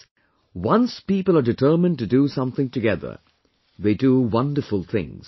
Friends, once people are determined to do something together, they do wonderful things